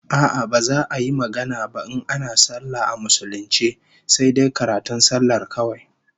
A'a, baza a yi magana ba in ana sallah a musulunce sai dai karatun sallar kawai